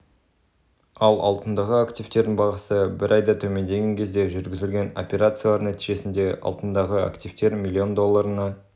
ал алтындағы активтердің бағасы бір айда төмендеген кезде жүргізілген операциялар нәтижесінде алтындағы активтер млн долларына